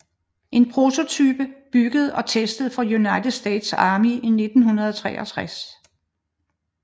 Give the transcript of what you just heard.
En prototype bygget og testet for United States Army i 1963